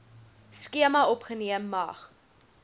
skema opgeneem mag